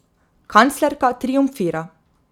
Kanclerka triumfira.